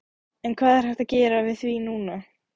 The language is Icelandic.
En hvað er hægt að gera við því núna?